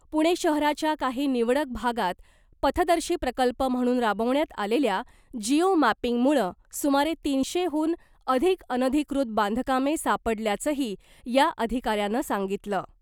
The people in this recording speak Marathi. पुणे शहराच्या काही निवडक भागात पथदर्शी प्रकल्प म्हणून राबवण्यात आलेल्या जिओ मॅपिंगमुळं सुमारे तीनशेहून अधिक अनधिकृत बांधकामे सापडल्याचंही या अधिकाऱ्यानं सांगितलं .